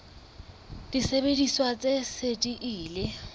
disebediswa tse seng di ile